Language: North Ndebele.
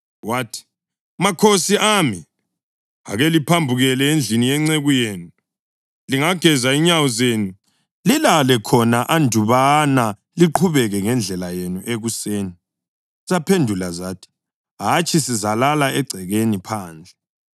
Wathi, “Makhosi ami, ake liphambukele endlini yenceku yenu. Lingageza inyawo zenu, lilale khona andubana liqhubeke ngendlela yenu ekuseni.” Zaphendula zathi, “Hatshi, sizalala egcekeni phandle.”